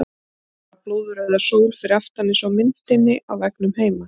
Vantar bara blóðrauða sól fyrir aftan eins og á myndinni á veggnum heima!